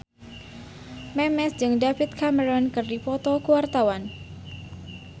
Memes jeung David Cameron keur dipoto ku wartawan